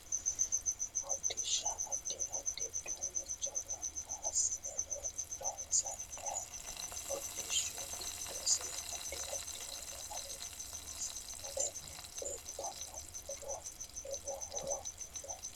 Hodhisha addi addi uduunicho ganba assine loonsooniho hodhishu giddosi addi addi horo aforinno isi mule leeltanno muro lowo horo uyiitanno